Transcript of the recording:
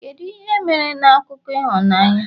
kedu ihe mere na akụkọ ịhụnanya?